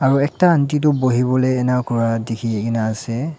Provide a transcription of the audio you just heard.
aro ekta aunty tu buhiwolae ena Kura dikhikaena ase.